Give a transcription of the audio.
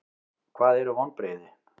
Hvað eru vonbrigði?